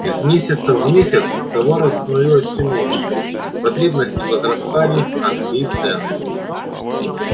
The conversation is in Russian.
из месяца в месяц товаров становилось все меньше потребности возрастали росли и цены